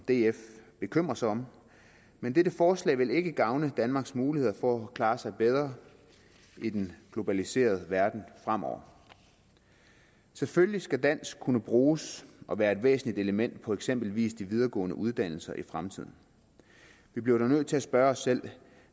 df bekymre sig om men dette forslag vil ikke gavne danmarks muligheder for at klare sig bedre i den globaliserede verden fremover selvfølgelig skal dansk kunne bruges og være et væsentligt element på eksempelvis de videregående uddannelser i fremtiden vi bliver dog nødt til at spørge os selv